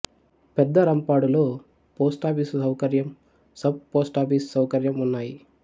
పెద్ద రంపాడులో పోస్టాఫీసు సౌకర్యం సబ్ పోస్టాఫీసు సౌకర్యం ఉన్నాయి